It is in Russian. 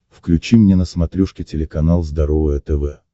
включи мне на смотрешке телеканал здоровое тв